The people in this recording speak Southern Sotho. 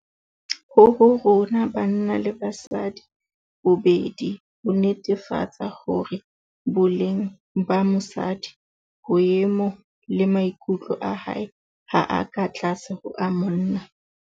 Ho ho rona banna le basadi bobedi, ho netefatsa hore boleng ba mosadi, boemo le maikutlo a hae ha a ka tlase ho a monna.